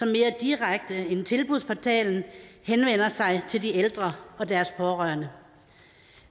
mere direkte end tilbudsportalen henvender sig til de ældre og deres pårørende